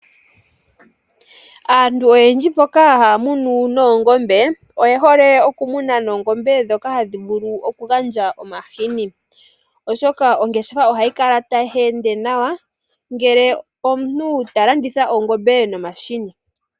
Aantu oyendji mboka haya munu oongombe oye hole okumuna oongombe ndhoka hadhi vulu okugandja omahini, oshoka ongeshafa ohayi kala tayi ende nawa ngele omuntu talanditha ongombe nomahini.